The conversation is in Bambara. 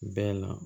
Bɛɛ la